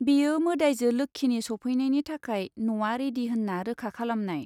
बेयो मोदाइजो लोक्षिनि सफैनायनि थाखाय न'आ रेडि होन्ना रोखा खालामनाय।